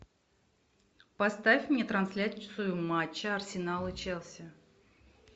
поставь мне трансляцию матча арсенал и челси